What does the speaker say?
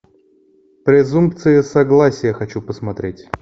презумпция согласия хочу посмотреть